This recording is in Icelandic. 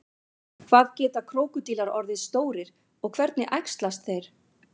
hvað geta krókódílar orðið stórir og hvernig æxlast þeir